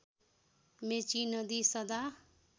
मेची नदी सदा